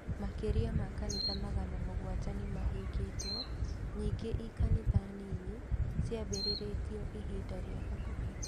Makĩria ma Makanitha magana mũgwanja nĩmabingitwe nyingĩ i kanitha nini ciambĩrĩrĩtwi ĩbinda ria bakubĩ